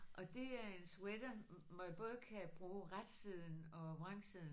Og det er en sweater man både kan bruge retsiden og vrangsiden